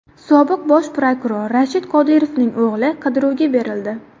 Sobiq bosh prokuror Rashid Qodirovning o‘g‘li qidiruvga berildi.